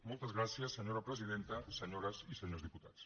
moltes gràcies senyora presidenta senyores i senyors diputats